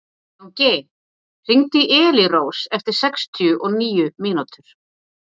Jónki, hringdu í Elírós eftir sextíu og níu mínútur.